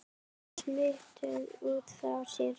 Þau smituðu út frá sér.